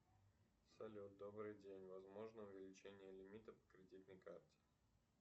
салют добрый день возможно увеличение лимита по кредитной карте